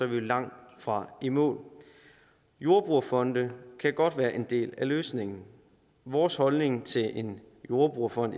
vi langtfra i mål jordbrugerfonde kan godt være en del af løsningen vores holdning til en jordbrugerfond